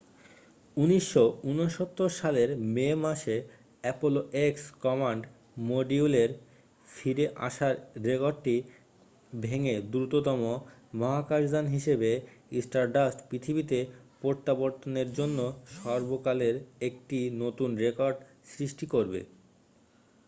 1969 সালের মে মাসে অ্যাপোলো এক্স কমান্ড মডিউলের ফিরে আসার রেকর্ডটি ভেঙে দ্রুততম মহাকাশযান হিসাবে স্টারডাস্ট পৃথিবীতে প্রত্যাবর্তনের জন্য সর্বকালের একটি নতুন রেকর্ড সৃষ্টি করবে